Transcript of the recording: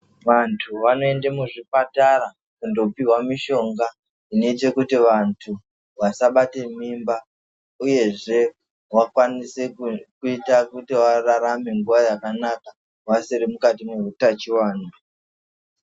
Vantu vanoenda muzvipatara kundopihwa mishonga nechekuti vantu vasabata mimba uyezve vasabatwa inoita kuti vararame yakanaka vasiri mukati mehutachiohiona.